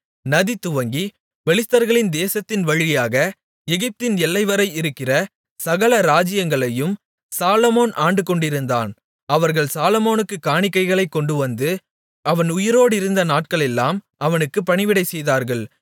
நதிதுவங்கி பெலிஸ்தர்களின் தேசத்தின் வழியாக எகிப்தின் எல்லைவரை இருக்கிற சகல ராஜ்ஜியங்களையும் சாலொமோன் ஆண்டுகொண்டிருந்தான் அவர்கள் சாலொமோனுக்குக் காணிக்கைகளைக் கொண்டுவந்து அவன் உயிரோடிருந்த நாட்களெல்லாம் அவனுக்கு பணிவிடை செய்தார்கள்